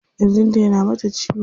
Kirjin ta yana mata ciwo.